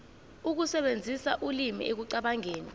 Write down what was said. ukusebenzisa ulimi ekucabangeni